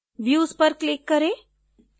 views पर click करें